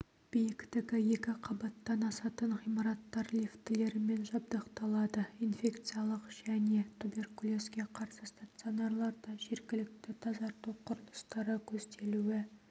биіктігі екі қабаттан асатын ғимараттар лифтілермен жабдықталады инфекциялық және туберкулезге қарсы стационарларда жергілікті тазарту құрылыстары көзделуі